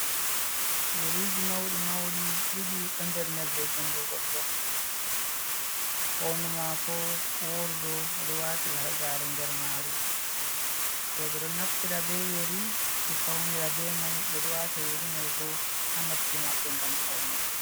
Yeriji mauɗi mauɗi ɗiɗi ɗo nder nebre jungo goɗɗo, hondu mako woru ɗo wati hargare nder maru, roɓe ɗo naftira be yeri ɓe faunira be mai ɓe ɗo wata yeri mai bo ha noppi maɓɓe ngam paune.